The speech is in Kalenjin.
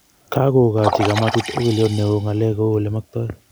Kagogochi kamatit ogiliot neo ngalek kou ole maktoi